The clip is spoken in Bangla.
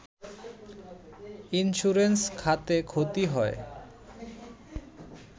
ইন্স্যুরেন্স খাতে ক্ষতি হয়